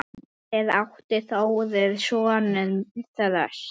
Fyrir átti Þórir soninn Þröst.